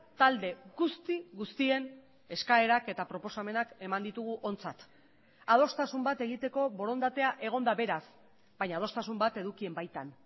talde guzti guztien eskaerak eta proposamenak eman ditugu ontzat adostasun bat egiteko borondatea egon da beraz baina adostasun bat edukien baitan